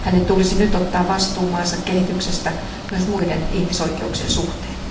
Hänen tulisi nyt ottaa vastuu maansa kehityksestä myös muiden ihmisoikeuksien suhteen.